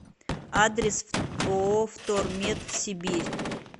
адрес ооо втормет сибирь